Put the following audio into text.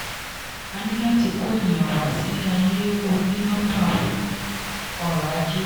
a ní láti kó ènìyàn wá sí ayé oní nọ́mbà fún ọrọ̀-ajé.